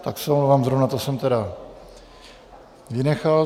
Tak se omlouvám, zrovna to jsem tedy vynechal.